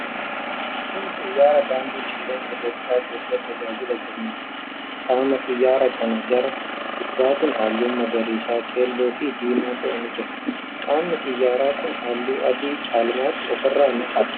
Kuni xiyyaara daandii qilleensa Itiyoophiyaa keessatti tajaajila kennuudha. Qaama xiyyaara kana gara duubatiin, halluun magariisa, keelloo fi diimaa ta'e ni jira. Qaamni xiyyaara kuni halluu adii caalmaatti ofirraa ni qaba.